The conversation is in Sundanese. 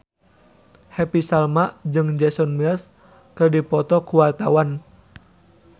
Happy Salma jeung Jason Mraz keur dipoto ku wartawan